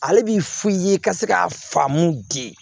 Ale b'i f'i ye ka se ka faamu de